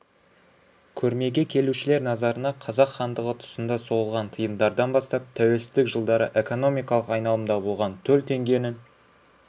көрмеге келушілер назарына қазақ хандығы тұсында соғылған тиындардан бастап тәуелсіздік жылдары экономикалық айналымда болған төл теңгенің